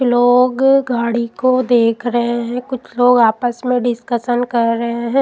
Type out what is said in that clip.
लोग गाड़ी को देख रहे हैं कुछ लोग आपस में डिस्कशन कर रहे हैं।